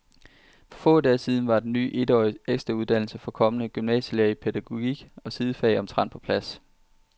For få dage siden var den ny etårige ekstrauddannelse for kommende gymnasielærere i pædagogik og sidefag omtrent på plads.